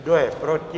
Kdo je proti?